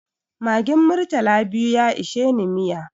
Magin murtala biyu ya isheni miya